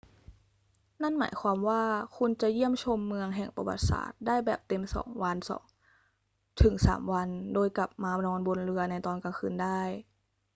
นั่นหมายความว่าคุณจะเยี่ยมชมเมืองแห่งประวัติศาสตร์ได้แบบเต็มวันสองถึงสามวันโดยกลับมานอนบนเรือในตอนกลางคืนได้